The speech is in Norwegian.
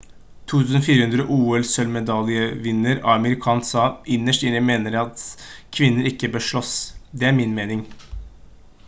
2004 ol-sølv-medaljevinner amir khan sa: «innerst inne mener jeg at kvinner ikke bør slåss. det er min mening»